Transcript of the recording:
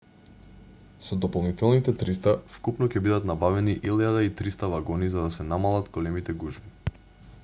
со дополнителните 300 вкупно ќе бидат набавени 1300 вагони за да се намалат големите гужви